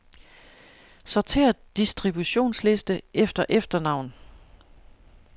Sortér distributionsliste efter efternavn.